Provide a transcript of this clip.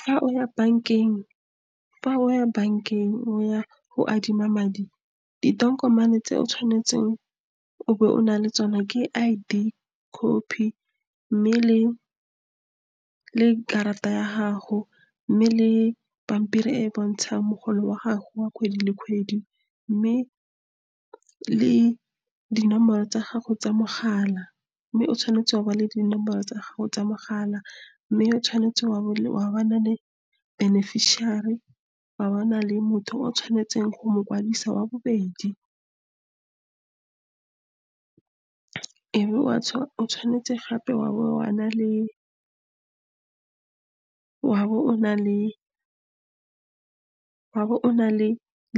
fa o ya bankeng, o ya go adima madi. Ditokomane tse o tshwanetseng o be o nale tsona ke I_D copy, mme le karata ya gago, mme le pampiri e e bontshang mogolo wa gago wa kgwedi le kgwedi, mme le dinomoro tsa gago tsa mogala. Mme o tshwanetse wa le dinomoro tsa gago tsa mogala, mme o tshwanetse o na le beneficiary, wa bo o na le motho o o tshwanetseng go mo kwadisa wa bobedi. o tshwanetse gape wa bo o na le